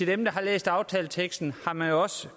dem der har læst aftaleteksten